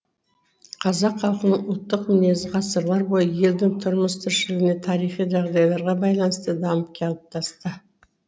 қазақ халқының ұлттық мінезі ғасырлар бойы елдің тұрмыс тіршілігіне тарихи жағдайларға байланысты дамып қалыптасты